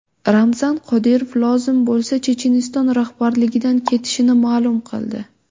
Ramzan Qodirov lozim bo‘lsa Checheniston rahbarligidan ketishini ma’lum qildi.